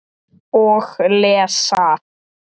Og lesa.